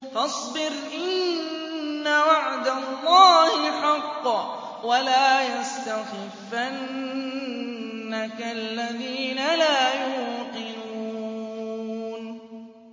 فَاصْبِرْ إِنَّ وَعْدَ اللَّهِ حَقٌّ ۖ وَلَا يَسْتَخِفَّنَّكَ الَّذِينَ لَا يُوقِنُونَ